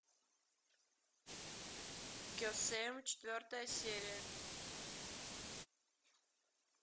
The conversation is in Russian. кесем четвертая серия